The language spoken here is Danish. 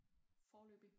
Foreløbig